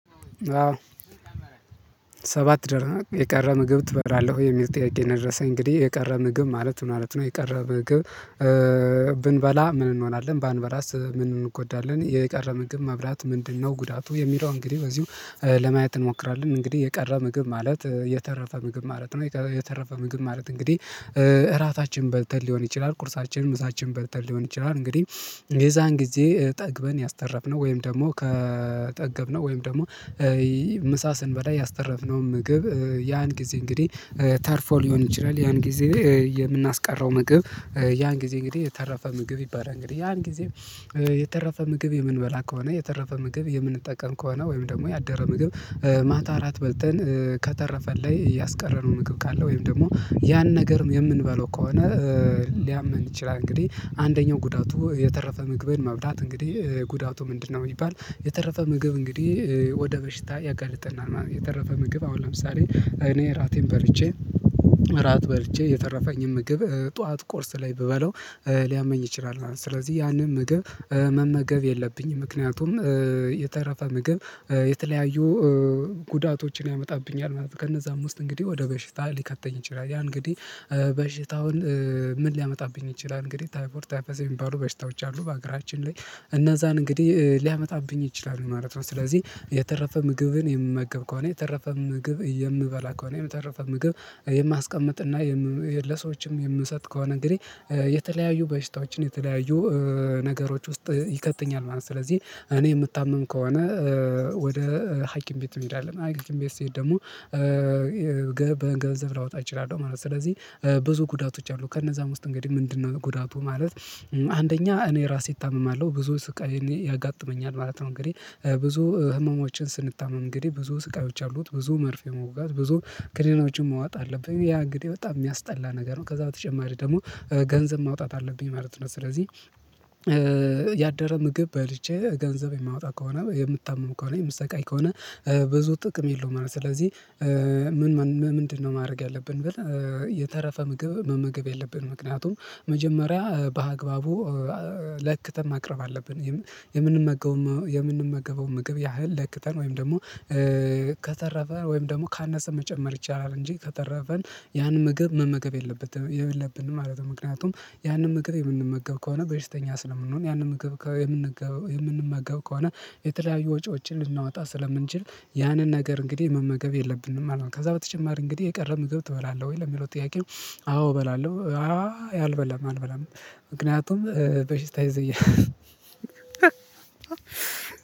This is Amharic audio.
ሰባት ደር የቀረ ምግብ ትበላለህ የሚል ጥያቄ ነው የደረሰኝ እንግዲህ የቀረ ምግብ ማለት ምን ማለት ነው? የቀረ ምግብ ብንበላ ምን እንሆናለን ባንበላስ ምን እንጎዳለን? የቀረ ምግብ መብላት ምንድነው ጉዳቱ የሚለው? እንግዲህ በዚሁ ለማየት እንሞክራለን እንግዲህ የቀረ ምግብ ማለት የተረፈ ምግብ ማለት ነው የተረፈ ምግብ ማለት እንግዲህ እራታችን በልተን ሊሆን ይችላል። ቁርሳችን ምሳችን በልተን ሊሆን ይችላል እንግዲህ የዛን ጊዜ ጠግበን ያስተረብነው ወይም ደግሞ ከጠገብነው ወይም ደግሞ ምሳ ስንበላ ያስተረፍነውን ምግብ ያን ጊዜ እንግዲህ ተርፎ ሊሆን ይችላል። ያን ጊዜ የምናስቀረው ምግብ ያን ጊዜ እንግዲህ የተረፈ ምግብ ይባላል። እንግዲህ ያን ጊዜ የተረፈ ምግብ የምንበላ ከሆነ የተረፈ ምግብ የምንጠቀም ከሆነ ወይም ደግሞ ያደረ ምግብ ማታ እራት በልተን ከተረፈ ላይ ያስቀረነው ምግብ ካለ ወይም ደግሞ ያን ነገር የምንበለው ከሆነ ሊያመን ይችላል። እንግዲህ አንደኛው ጉዳቱ የተረፈ ምግብን መብላት እንግዲህ ጉዳቱ ምንድነው? ቢባል የተረፈ ምግብ እንግዲህ ወደ በሽታ ያጋልጥናል የተረፈ ምግብ አሁን ለምሳሌ እኔ እራቴን በልቼ እራት በልቼ የተረፈኝን ምግብ ጠዋት ቁርስ ላይ ብበለው ሊያመኝ ይችላል ማለት ነው። ስለዚህ ያንን መገብ መመገብ የለብኝም ምክንያቱም የተረፈ ምግብ የተለያዩ ጉዳቶችን ያመጣብኛል ማለት ነው። ከነዛም ውስጥ እንግዲህ ወደ በሽታ ሊከተኝ ይችላል ያ እንግዲህ በሽታውን ምን ሊያመጣብኝ ይችላል? እንግዲህ ታይፎር ታይፐዝ የሚባሉ በሽታዎች አሉ በሀገራችን ላይ እነዛን እንግዲህ ሊያመጣብኝ ይችላሉ ማለት ነው። ስለዚህ የተረፈ ምግብን የምመገብ ከሆነ የተረፈ ምግብ የምበላ ከሆነ የተረፈ ምግብ የማስቀምጥ እና ለሰዎችም የምሰጥ ከሆነ እንግዲህ የተለያዩ በሽታዎችን የተለያዩ ነገሮች ውስጥ ይከትኛል ማለት ነው። ስለዚህ እኔ የምታመም ከሆነ ወደ ሀኪም ቤት መሄዳለው ሀይኪም ቤት ስሄድ ደግሞ ገንዘብ ላወጣ እችላለሁ ማለት ነው። ስለዚህ ብዙ ጉዳቶች አሉ ከነዛ ውስጥ እንግዲህ ምንድነው ጉዳቱ? ማለት አንደኛ እኔ ራሴ እታመማለሁ ብዙ ስቃይ ያጋጥመኛል ማለት ነው። እንግዲህ ብዙ ህመሞችን ስንታመም እንግዲህ ብዙ ስቃዮች አሉት ብዙ መርፌ መውጋት ብዙ ክሊኖችን መዋጥ አለብኝ ያ እንግዲህ በጣም የሚያስጠላ ነገር ነው። ከዛ በተጨማሪ ደግሞ ገንዘብ ማውጣት አለብኝ ማለት ነው። ስለዚህ ያደረ ምግብ በልቼ ገንዘብ የማወጣ ከሆነ የምታመም ከሆነ የምትሰቃይ ከሆነ ብዙ ጥቅም የለውም ማለት ነው። ስለዚህ ምን ምንድነው ማድረግ ያለብን? ብለን የተረፈ ምግብ መመገብ የለብንም ምክንያቱም መጀመሪያ በአግባቡ ለክተን ማቅረብ አለብን የምንመገበውን ምግብ ያህል ለክተን ወይም ደግሞ ከተረፈ ወይም ደግሞ ካነሰ መጨመር ይቻላል እንጂ ከተረፈን ያን ምግብ መመገብ የለበትም የለብንም ማለት ነው። ምክንያቱም ያንን ምግብ የምንመገብ ከሆነ በሽተኛ ስለምንሆን ያንን መመገብ የምንመገብ ከሆነ የተለያዩ ወጪዎችን ልናወጣ ስለምንችል ያንን ነገር እንግዲህ መመገብ የለብንም ማለት ነው። ከዛ በተጨማሪ እንግዲህ የቀረ ምግብ ትበላለህ ወይ ለሚለው? ጥያቄው አዎ እበላለሁ አልበላም አልበላም ምክንያቱም በሽታ ይይዘኛል።